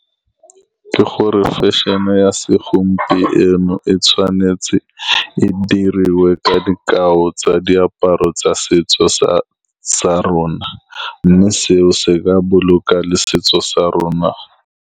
Ke gore, fashion-e ya segompieno e tshwanetse e diriwe ka dikao tsa diaparo tsa setso sa rona, mme seo se ka boloka le setso sa rona.